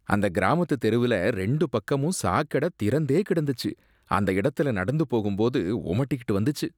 அந்த கிராமத்து தெருவுல ரெண்டு பக்கமும் சாக்கடை திறந்தே கிடந்துச்சு, அந்த இடத்துல நடக்கும் போது ஒமட்டிக்கிட்டு வந்துச்சு.